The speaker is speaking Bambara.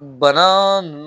Banaa n